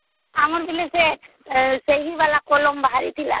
ଆମବେଳେ ସେ ସ୍ୟାହିଵାଲା କଲମ ବାହାରିଥିଲା